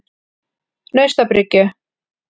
Naustabryggju